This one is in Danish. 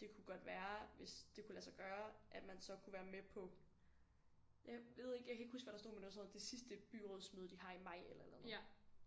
det kunne godt være hvis det kunne lade sig gøre at man så kunne være med på jeg ved ikke jeg kan ikke huske hvad der stod men der var sådan noget det sidste byrådsmøde de har i maj eller et eller andet